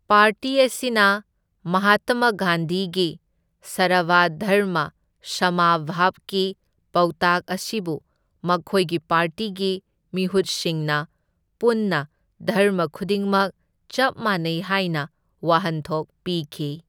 Party ꯑꯁꯤꯅ ꯃꯍꯥꯠꯇꯃ ꯒꯥꯟꯙꯤꯒꯤ ꯁꯔꯕ ꯙꯔꯃ ꯁꯥꯃꯥ ꯚꯕꯒꯤ ꯄꯥꯎꯇꯥꯛ ꯑꯁꯤꯕꯨ ꯃꯈꯣꯏꯒꯤ ꯄꯥꯔꯇꯤꯒꯤ ꯃꯤꯍꯨꯠꯁꯤꯡꯅ ꯄꯨꯟꯅ ꯙꯔꯃ ꯈꯨꯗꯤꯡꯃꯛ ꯆꯞ ꯃꯥꯟꯅꯩ ꯍꯥꯏꯅ ꯋꯥꯍꯟꯊꯣꯛ ꯄꯤꯈꯤ꯫